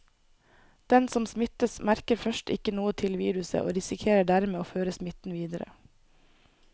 Den som smittes, merker først ikke noe til viruset og risikerer dermed å føre smitten videre.